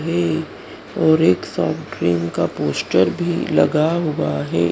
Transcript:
वे और एक soft drink का पोस्टर भी लगा हुआ है।